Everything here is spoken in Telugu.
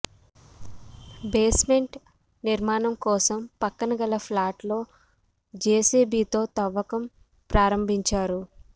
బేస్ మెంట్ నిర్మాణం కోసం పక్కన గల ప్లాట్ లో జేసీబీతో తవ్వకం ప్రారంభించారు